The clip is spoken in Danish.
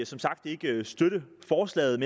som sagt ikke støtte forslaget